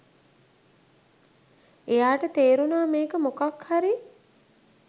එයාට තේරුණා මේක මොකක්හරි